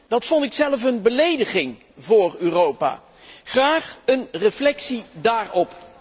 Dat vond ik zelf een belediging voor Europa. Graag een reactie daarop.